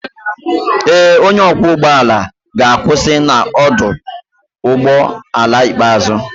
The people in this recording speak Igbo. Ee, onye ọkwọ ụgbọ ala ga-akwụsị na ọdụ ụgbọ ala ikpeazụ